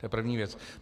To je první věc.